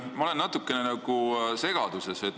Ma olen natukene segaduses.